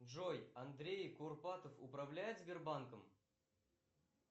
джой андрей курпатов управляет сбербанком